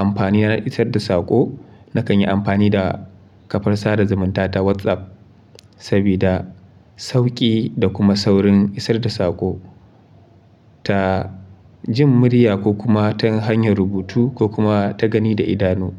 amfani na isar da saƙo, na kan yi amfani da kafar sada zumunta ta WhatsApp sabida sauƙi da kuma saurin isar da saƙo ta jin murya ko kuma ta hanyar rubutu ko kuma ta gani da idanu.